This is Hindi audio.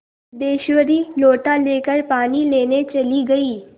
सिद्धेश्वरी लोटा लेकर पानी लेने चली गई